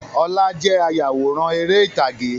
Ọlá jẹ́ ayawòrán ère ìtàgé.